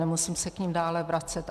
Nemusím se k nim dále vracet.